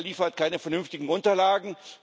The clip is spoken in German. Wer liefert keine vernünftigen Unterlagen?